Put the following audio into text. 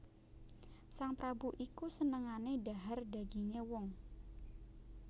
Sang prabu iku senengané dhahar dagingé wong